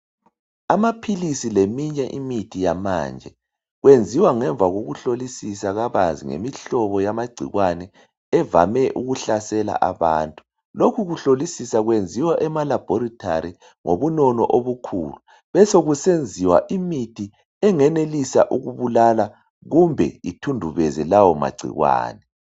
Amaphilisi leminye imithi yamanje kwenziwa ngemva kokuhlolisisa kabanzi ngemihlobo yamagcikwane evame ukuhlasela abantu , lokhu kuhlolisisa kwenziwa ema laboratory ngobunono obukhulu besekusenziwa imithi engenelisa ukubulala kumbe ithundubeze lawo magcikwane .